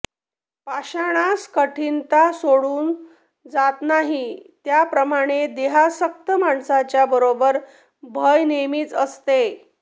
पाषाणास कठिनता सोडून जात नाही त्याप्रमाणे देहासक्त माणसाच्या बरोबर भय नेहमीच असते